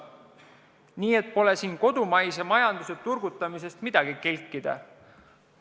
Nii et ei maksa siin kodumaise majanduse turgutamisega kelkida.